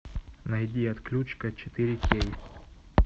найди отключка четыре кей